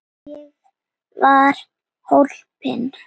Ég var hólpin.